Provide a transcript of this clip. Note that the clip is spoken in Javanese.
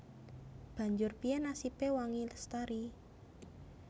Banjur piyé nasibé Wangi Lestari